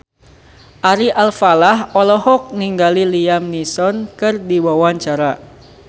Ari Alfalah olohok ningali Liam Neeson keur diwawancara